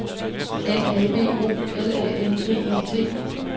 N A B O L A N D E T